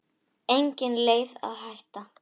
Engin leið að hætta.